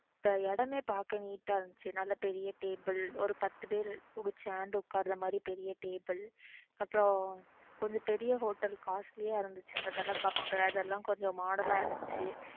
இடமே பாக்க neat இருந்துச்சு நல்ல பெரிய table ஒரு பாத்து பேரு நல்ல சேர்ந்து ஒக்காருற மாதிரி பெரிய table அப்புறம் கொஞ்சம் பெரிய hotel costly யா இருந்துச்சு cup அதெல்லாம் கொஞ்சம் modern இருந்துச்சு